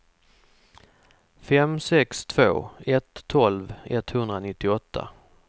fem sex två ett tolv etthundranittioåtta